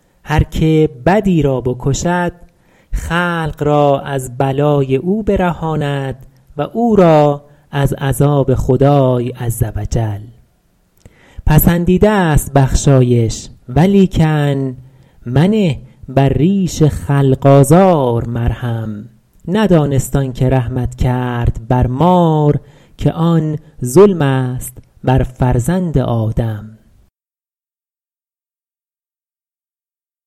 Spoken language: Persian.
هر که بدی را بکشد خلق را از بلای او برهاند و او را از عذاب خدای عز و جل پسندیده ست بخشایش ولیکن منه بر ریش خلق آزار مرهم ندانست آن که رحمت کرد بر مار که آن ظلم است بر فرزند آدم